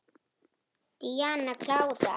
Díana klára.